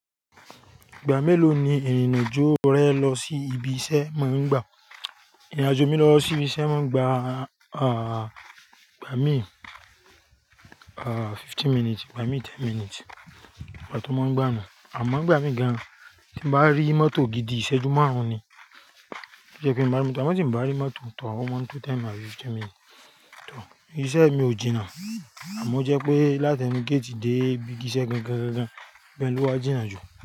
Ìgbà mélòó ni ìrìn-àjò rẹ lọ sí ibi iṣẹ́ máa ń gbà? Ìrìnàjò mi lọ sí ibi iṣẹ́ máa ń gbà, igbà mí, fifteen minutes, igbà mí ten minutes, ìgbà tó máa ń gbà nu. Àmọ́ ń gbà mí gan-an tí bá rí mọ́tò gidi ìṣẹ́jú márùn-ún ni tó jẹ́ pé mí bá rí mọ́tò, àmó tí n bá rí mọ́tò tọ̀r ó máa ń tó ten minutes àbí fifteen minutes. Iṣẹ́ mi ò jìnnà àmọ́ ó jẹ́ pé láti ẹnu gate dé ibi iṣẹ́ gan-gan-gan-gan bẹ ló wá jìnnà jù.